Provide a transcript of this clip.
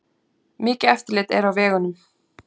Mikið eftirlit er á vegunum